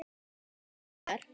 Jafna þess er